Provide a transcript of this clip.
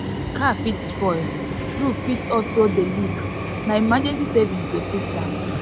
car fit spoil roof fit also dey leak na emergency savings go fix am